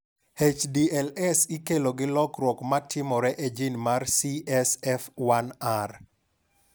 HDLS ikelo gi lokruok ma timore e jin mar CSF1R.